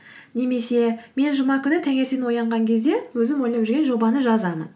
немесе мен жұма күні таңертең оянған кезде өзім ойлап жүрген жобаны жазамын